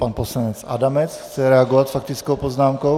Pan poslanec Adamec chce reagovat s faktickou poznámkou.